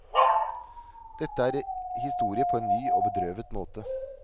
Dette er historie på en ny og bedrøvet måte.